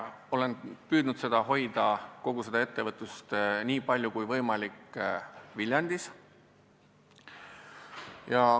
Olen püüdnud seda hoida, nii palju kui võimalik, Viljandis.